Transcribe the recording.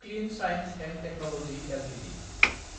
clean science & technology Ltd